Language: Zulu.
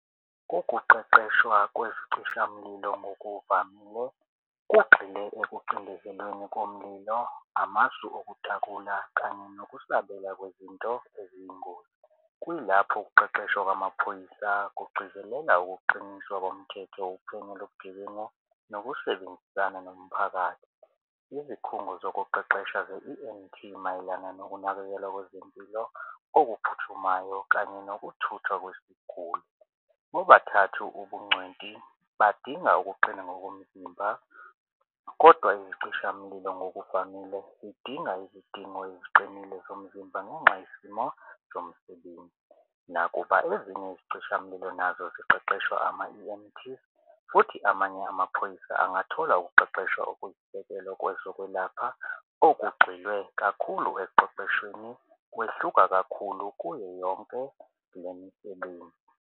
Ngokuqeqeshwa kwezicishamlilo ngokuvamile kugxile ekucindezelweni komlilo amasu okutakula kanye nokusabela kwezinto eziyingozi. Kuyilapho ukuqeqeshwa kwamaphoyisa kugcizelela ukuqiniswa komthetho uphenyo lobugebengu nokusebenzisana nomphakathi. Izikhungo zokuqeqesha ze-E_M_T mayelana nokunakekelwa kwezempilo okuphuthumayo kanye nokuthutha kweziguli. Bobathathu ubungcweti badinga ukuqina ngokomzimba kodwa izicishamlilo ngokuvamile zidinga izidingo eziqinile zomzimba ngenxa yesimo zomsebenzi. Nakuba ezinye izicishamlilo nazo siqeqeshwe ama-E_M_T futhi amanye amaphoyisa angathola ukuqeqeshwa okusekelwa kwezokwelapha olugxilwe kakhulu ekuqeqeshweni kwehluka kakhulu kuyo yonke le misebenzi.